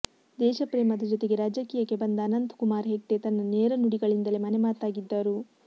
ದೇಶಪ್ರೇಮ ದ ಜೊತೆಗೆ ರಾಜಕೀಯಕ್ಕೆ ಬಂದ ಅನಂತ್ ಕುಮಾರ್ ಹೆಗ್ಡೆ ತನ್ನ ನೇರ ನುಡಿಗಳಿಂದಲೇ ಮನೆಮಾತಾಗಿದ್ದರು